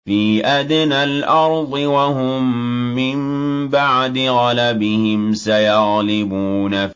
فِي أَدْنَى الْأَرْضِ وَهُم مِّن بَعْدِ غَلَبِهِمْ سَيَغْلِبُونَ